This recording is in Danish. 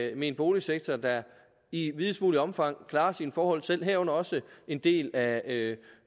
almen boligsektor der i videst muligt omfang klarer sine forhold selv herunder også en del af